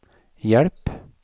hjelp